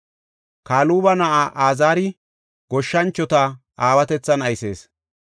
Kaluba na7ay Iziri goshshanchota aawatethan aysees.